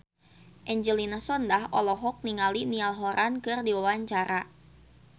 Angelina Sondakh olohok ningali Niall Horran keur diwawancara